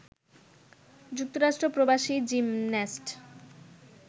যুক্তরাষ্ট্র প্রবাসী জিমন্যাস্ট